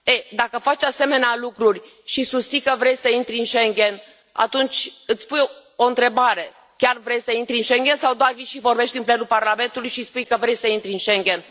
Dacă faci asemenea lucruri și susții că vrei să intri în Schengen, atunci îți pui o întrebare chiar vrei să intri în Schengen sau doar vii și vorbești în plenul Parlamentului și spui că vrei să intri în Schengen?